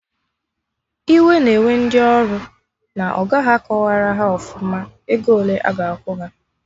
Iwe na-ewe ndị ọrụ na ọga ha akọwarọ haọfụma ego ole aga akwụ ha